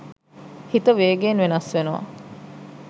හිත වේගයෙන් වෙනස් වෙනවා